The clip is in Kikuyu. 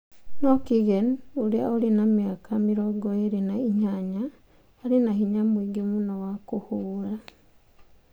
No Kigen, ũrĩa ũrĩ na mĩaka 28, arĩ na hinya mũingĩ mũno wa kũhũũra.